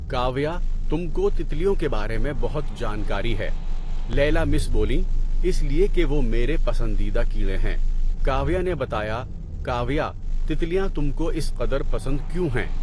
کاویہ، تم کو تتلیوں کے بارے میں بہت جانکاری ہے، لیلی مس بولیں۔ اس لیے کہ وہ میرے پسندیدہ کیڑے ہیں، کاویہ نے بتایا۔ کاویہ، تتلیاں تم کو اس قدر پسند کیوں ہیں؟